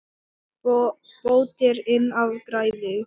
Bót er inn af græði.